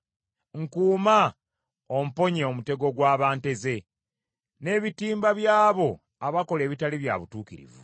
Nkuuma omponye omutego gwe banteze, n’ebitimba by’abo abakola ebitali bya butuukirivu.